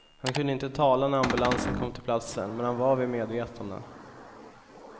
Han kunde inte tala när ambulansen kom till platsen, men han var vid medvetande.